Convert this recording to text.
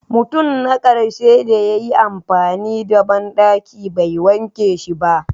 Mutum na karshe da ya yi amfani da bandaki bai wanke shi ba.